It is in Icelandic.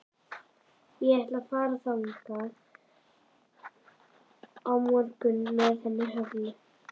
Ég ætla að fara þangað á morgun með henni Höllu.